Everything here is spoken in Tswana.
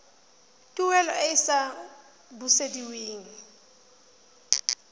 tuelo e e sa busediweng